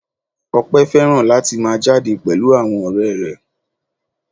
Ope fẹ́ràn láti máa jáde pẹ̀lú àwọn ọ̀rẹ́ rẹ̀.